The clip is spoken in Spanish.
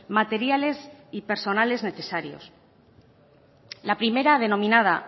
materiales y personales necesarios la primera denominada